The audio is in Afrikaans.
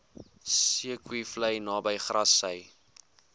zeekoevlei naby grassy